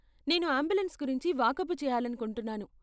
నేను అంబులెన్స్ గురించి వాకబు చేయాలనుకుంటున్నాను.